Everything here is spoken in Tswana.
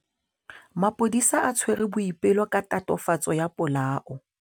Maphodisa a tshwere Boipelo ka tatofatsô ya polaô.